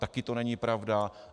Také to není pravda.